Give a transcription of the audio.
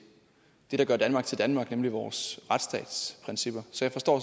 der gør danmark til danmark nemlig vores retsstatsprincipper så jeg forstår